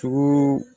Sogo